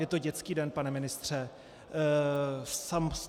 Je to dětský den, pane ministře?